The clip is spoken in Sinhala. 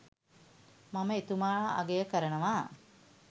මම එතුමාව අගය කරනවා